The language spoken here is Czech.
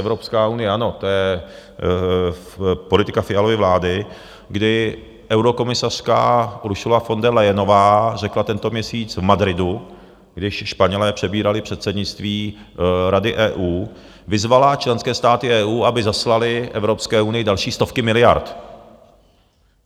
Evropská unie, ano, to je politika Fialovy vlády, kdy eurokomisařka Ursula von Der Leyenová řekla tento měsíc v Madridu, když Španělé přebírali předsednictví Rady EU, vyzvala členské státy EU, aby zaslaly Evropské unii další stovky miliard.